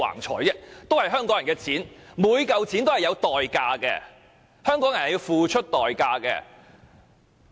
這也是香港人的錢，每一分錢也是有代價的，香港人是要付出代價的。